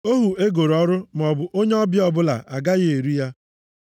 Ohu e goro ọrụ, maọbụ onye ọbịa ọbụla agaghị eri ya.